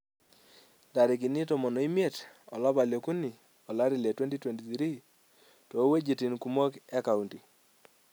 Ntarikini 15 olapa le okuni 2023 too wuejitin kumok e kaunti.